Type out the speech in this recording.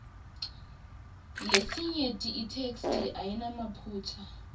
lesinyenti itheksthi ayinamaphutsa